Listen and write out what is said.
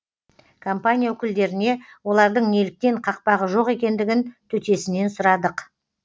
компания өкілдеріне олардың неліктен қақпағы жоқ екендігін төтесінен сұрадық